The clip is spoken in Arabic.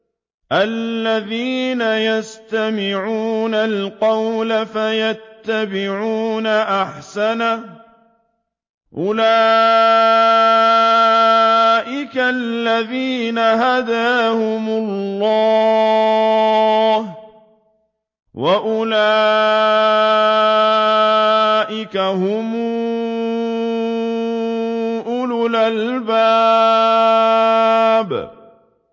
الَّذِينَ يَسْتَمِعُونَ الْقَوْلَ فَيَتَّبِعُونَ أَحْسَنَهُ ۚ أُولَٰئِكَ الَّذِينَ هَدَاهُمُ اللَّهُ ۖ وَأُولَٰئِكَ هُمْ أُولُو الْأَلْبَابِ